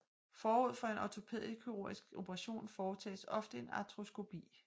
Forud for en ortopædkirurgisk operation foretages ofte en artroskopi